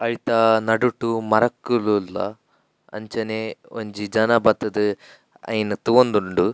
ಐತ ನಡುಟ್ ಮರಕ್ಕುಲು ಉಲ್ಲ ಅಂಚನೆ ಒಂಜಿ ಜನ ಬತ್ತುದು ಐನ್ ತೂವೊಂದುಂಡು.